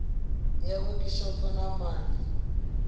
ya wekhishopho na ma ḓ